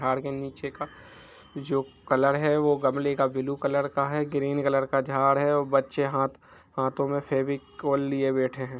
झाड़ के नीचे का जो कलर है वो गमले का ब्लू कलर का है ग्रीन कलर का झाड़ है और बच्चे हाथ हाथों मे फेविकोल लिए बैठे है।